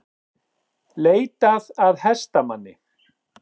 Leitað að hestamanni